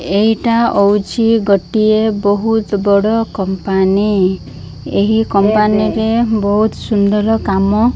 ଏଇଟା ଅଉଛି ଗୋଟିଏ ବହୁତ୍ ବଡ଼ କମ୍ପାନୀ । ଏହି କମ୍ପାନୀ ରେ ବୋହୁତ୍ ସୁନ୍ଦର କାମ --